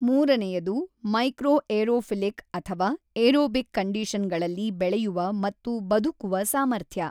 ಮೂರನೆಯದು ಮೈಕ್ರೋಏರೋಫಿಲಿಕ್ ಅಥವಾ aerobic condition ಗಳಲ್ಲಿ ಬೆಳೆಯುವ ಮತ್ತು ಬದುಕುವ ಸಾಮರ್ಥ್ಯ.